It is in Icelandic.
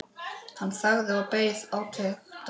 Hann þagði og beið átekta.